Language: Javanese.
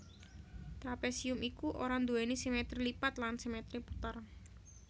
Trapésium iki ora nduwèni simètri lipat lan simètri puter